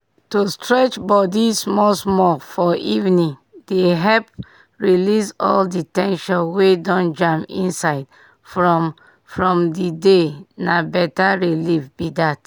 to stretch body small-small for evening dey help release all the ten sion wey don jam inside from from the day—na better relief be that.